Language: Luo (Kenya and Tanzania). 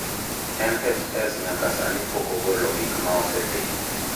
NHS nyaka sani pok ogolo gik ma osetimo.